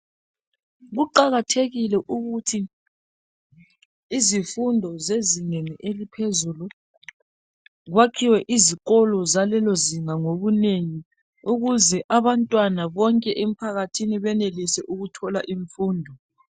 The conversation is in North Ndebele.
Kuqakathekile ukuthi izifundo zezingeni eliphezulu kwakhiwe izikolo zalelo zinga ngobunengi ukuze abantwana bonke emphakathini benelise ukuthola imfundo.